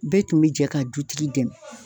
Bɛɛ tun bɛ jɛ ka dutigi dɛmɛ.